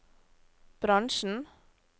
bransjen